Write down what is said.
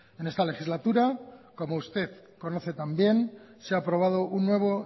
en esta legislatura como usted conoce tan bien se ha aprobado un nuevo